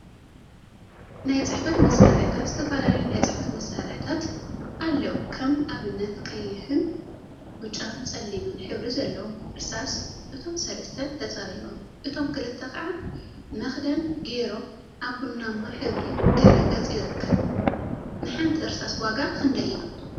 ናይ ፅሕፈት መሳርሒታት ዝተፈላለዩ ናይ ፅሕፈት መሳርሒታት አለው፡፡ ከም አብነት ቀይሕ፣ ብጫን ፀሊምን ሕብሪ ዘለዎም እርሳሳ እቶም ሰለስተ ተፀሪቦም እቶም ክልተ ከዓ መክደን ገይሮም አብ ቡናማ ሕብሪ ድሕረ ገፅ ይርከብ፡፡ ንሓንቲ እርሳስ ዋጋ ክንደይ እዩ?